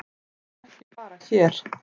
Það er ekki bara hér.